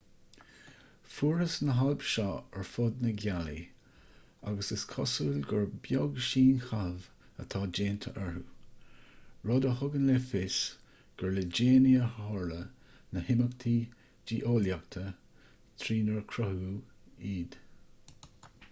fuarthas na hailp seo ar fud na gealaí agus is cosúil gur beag síonchaitheamh atá déanta orthu rud a thugann le fios gur le déanaí a tharla na himeachtaí geolaíochta trínar cruthaíodh iad